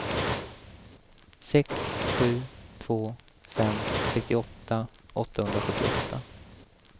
sex sju två fem sextioåtta åttahundrasjuttioåtta